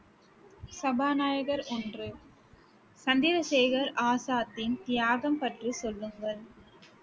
சபாநாயகர் ஒன்று, சந்திரசேகர் ஆசாத்தின் தியாகம் பற்றி சொல்லுங்கள்